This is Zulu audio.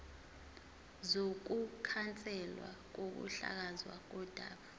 sokukhanselwa kokuhlakazwa kodaba